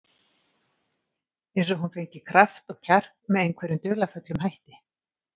Eins og hún fengi kraft og kjark með einhverjum dularfullum hætti.